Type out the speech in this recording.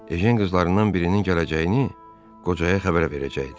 Ejən qızlarından birinin gələcəyini qocaya xəbər verəcəkdi.